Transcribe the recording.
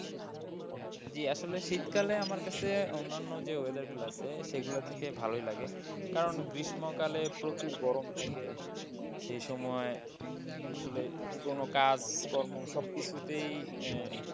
জি আসলে শীতকালে আমার কাছে অন্যান্য যে weather গুলা আছে সেগুলো থেকে ভালই লাগে কারণ গ্রীষ্মকালে প্রচুর গরম থাকে সেই সময় আসলে কোন কাজকর্ম সবকিছুতেই,